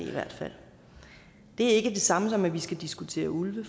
det er ikke det samme som at vi skal diskutere ulve